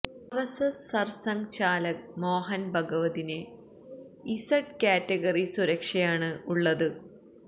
RSS Sarsanghchalak Mohan ഭഗവതിന് Z category സുരക്ഷയാണ് ഉള്ളത്